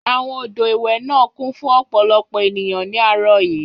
Àwọn odò ìwẹ̀ náà kún fún ọ̀pọ̀lọpọ̀ ènìyàn ní àárọ̀ yìí.